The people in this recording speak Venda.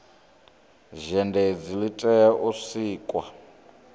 zhenedzi li tea u sikwa